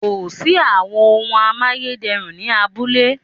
Kò sí àwọn ohun amáyédẹrùn ni abúlé